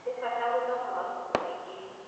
Nĩ bata gũthoma mabuku maingĩ.